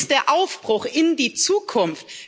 Wo ist der Aufbruch in die Zukunft?